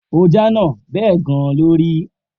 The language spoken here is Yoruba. O jánà. Bẹ́ẹ̀ gan-an ló rí.